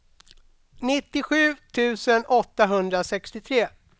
nittiosju tusen åttahundrasextiotre